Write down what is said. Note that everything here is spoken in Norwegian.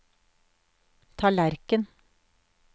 tallerken